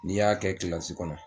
N'i y'a kɛ kilasi kɔnɔ